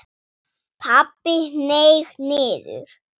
Pabbi hneig niður.